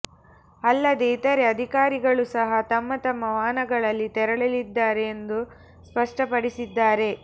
ಅಲ್ಲದೆ ಇತರೆ ಅಧಿಕಾರಿಗಳೂ ಸಹಾ ತಮ್ಮ ತಮ್ಮ ವಾಹನಗಳಲ್ಲಿ ತೆರಳಲಿದ್ದಾರೆ ಎಂದು ಸ್ಪಷ್ಪಪಡಿಸಿದ್ದಾರೆ